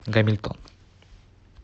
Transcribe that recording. гамильтон